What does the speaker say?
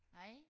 Hej